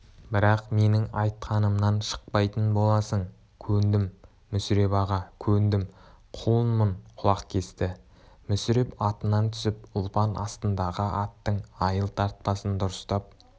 бірақ менің айтқанымнан шықпайтын боласың көндім мүсіреп аға көндім құлыңмын құлақ кесті мүсіреп атынан түсіп ұлпан астындағы аттың айыл тартпасын дұрыстап